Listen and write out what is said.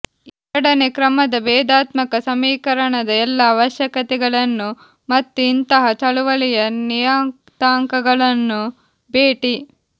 ಎರಡನೇ ಕ್ರಮದ ಭೇದಾತ್ಮಕ ಸಮೀಕರಣದ ಎಲ್ಲಾ ಅವಶ್ಯಕತೆಗಳನ್ನು ಮತ್ತು ಇಂತಹ ಚಳುವಳಿಯ ನಿಯತಾಂಕಗಳನ್ನು ಭೇಟಿ